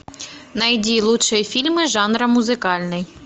найди лучшие фильмы жанра музыкальный